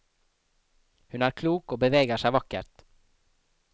Hun er klok og beveger seg vakkert.